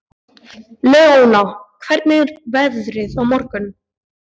Leona, hvernig er veðrið á morgun?